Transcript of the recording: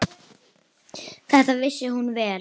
Það vissi hún vel.